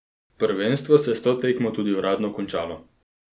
Prvenstvo se je s to tekmo tudi uradno končalo.